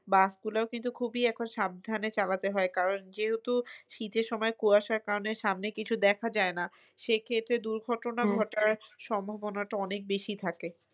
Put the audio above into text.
Bus গুলাও কিন্তু খুবই এখন সাবধানে চালাতে হয় কারণ যেহেতু শীতের সময় কুয়াশার কারণে সামনে কিছু দেখা যায় না সেই ক্ষেত্রে দুর্ঘটনা ঘটার সম্ভাবনাটা অনেক বেশি থাকে।